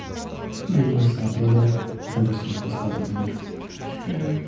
мен осы атырауда әзірше жоспарларым бар ммм